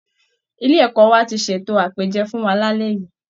Ilé ẹ̀kọ́ wa ti ṣètò àpèjẹ fún wa lálẹ́ yìí